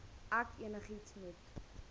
ek enigiets moet